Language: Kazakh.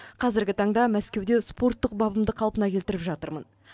қазіргі таңда мәскеуде спорттық бабымды қалпына келтіріп жатырмын